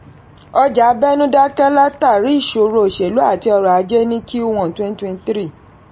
ọjà abẹ̀nú dákẹ́ látàrí ìṣòro oselú àti ọrọ̀ ajé ní q one twenty twenty three.